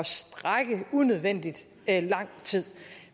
strække i unødvendig lang tid